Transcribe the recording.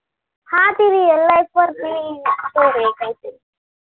हम्म ते real life वरती story आहे ती काय काहीतरी चालू आहे काय